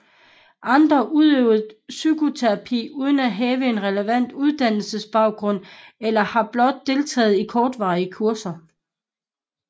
Andre udøver psykoterapi uden at have en relevant uddannelsesbaggrund eller har blot deltaget i kortvarige kurser